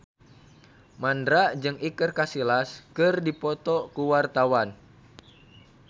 Mandra jeung Iker Casillas keur dipoto ku wartawan